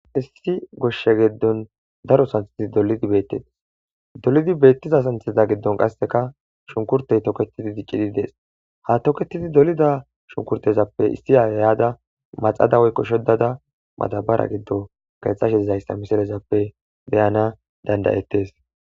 Issi goshshe giddon daro santh dolidi beettettes dolidi beettiza santhida giddon qasseka shunkurtey toketidi diqqidi dees ha toketidi dolida shunkurtezappe issi hayada maxada woykko shodada madabara giddo gaethxasheizayssa misalezappe beyana dandayettes